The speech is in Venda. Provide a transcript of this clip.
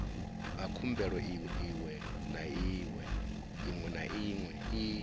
khumbelo iwe na iwe i